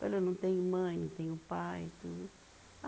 Falei, eu não tenho mãe, não tenho pai e tudo.